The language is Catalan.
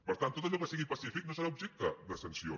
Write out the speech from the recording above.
per tant tot allò que sigui pacífic no serà objecte de sanció